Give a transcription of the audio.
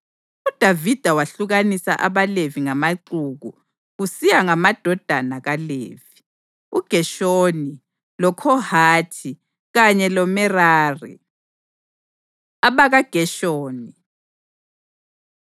UDavida wehlukanisa abaLevi ngamaxuku kusiya ngamadodana kaLevi: uGeshoni, loKhohathi kanye loMerari. AbakaGeshoni